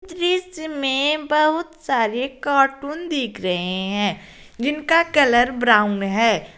बीच में बहुत सारे कार्टून दीख रहे हैं जिनका कलर ब्राउन है।